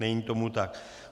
Není tomu tak.